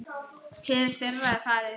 Hið fyrra er farið.